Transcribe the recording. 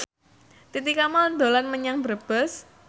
Titi Kamal dolan menyang Brebes